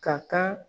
Ka kan